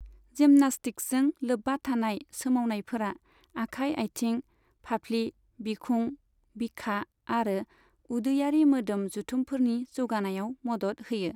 जिमनास्टिक्सजों लोब्बा थानाय सोमावनायफोरा आखाइ, आथिं, फाफ्लि, बिखुं, बिखा आरो उदैयारि मोदोम जुथुमफोरनि जौगानायाव मदद होयो।